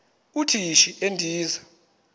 uthi yishi endiza